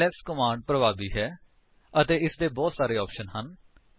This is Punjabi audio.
ਐਲਐਸ ਕਮਾਂਡ ਪਰਭਾਵੀ ਹੈ ਅਤੇ ਇਸਦੇ ਬਹੁਤ ਸਾਰੇ ਆਪਸ਼ਨਸ ਹਨ